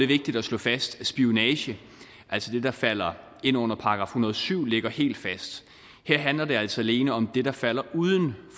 vigtigt at slå fast at spionage altså det der falder ind under § en hundrede og syv ligger helt fast her handler det altså alene om det der falder uden